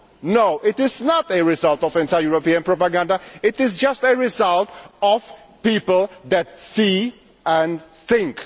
No, it is not a result of anti European propaganda, it is just a result of people who see and think.